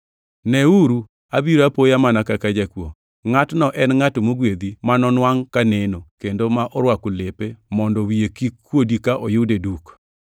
“Neuru! Abiro apoya mana kaka jakuo! Ngʼatno en ngʼat mogwedhi ma nonwangʼ kaneno kendo ma orwako lepe mondo wiye kik kuodi ka oyude duk.”